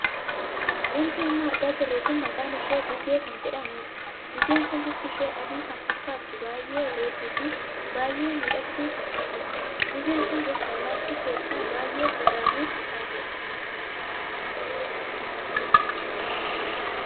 Wanti amma argaa jirru kun maqaan ishee gugee kan jedhamuudha. Gugeen kun bifti ishee adii kan fakkaattu baay'ee bareedduu fi baay'ee miidhagduu kan taatedha. Gugeen kun gosa allaattii keessaa baay'ee garraamii kan taatedha.